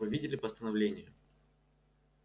вы видели постановление